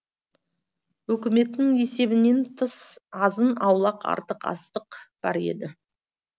өкіметтің есебінен тыс азын аулақ артық астық бар еді